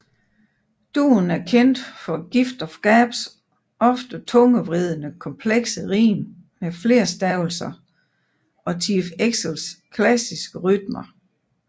Duoen er kendt for Gift of Gabs ofte tungevridende komplekse rim med flerstavelser og Chief Xcels klassiske rytmer